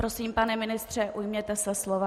Prosím, pane ministře, ujměte se slova.